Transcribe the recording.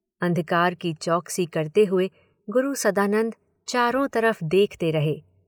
अंधकार की चैकसी करते हुए गुरु सदानंद चारों तरफ़ देखते रहे।